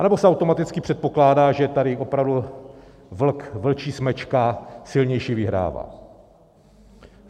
Anebo se automaticky předpokládá, že tady opravdu vlk, vlčí smečka, silnější vyhrává.